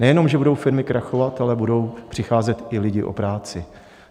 Nejenom že budou firmy krachovat, ale budou přicházet i lidi o práci.